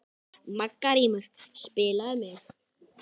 Margrímur, spilaðu tónlist.